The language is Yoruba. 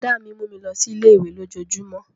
Brọ̀dá mi mú mi lọ sí ilé-ìwé lójojúmó